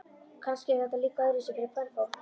Kannski er þetta líka öðruvísi fyrir kvenfólk.